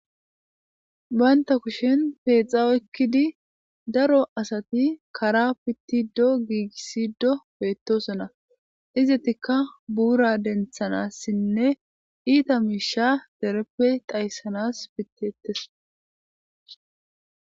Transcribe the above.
Baynta kushin peexao ekkidi daro asati kara pittido giigisido beettosona izetikka buura denthanassinne iita miisha dereppe dayssanas pittiettes